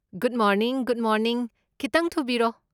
Good morning good morning, ꯈꯤꯇꯪ ꯊꯨꯕꯤꯔꯣ꯫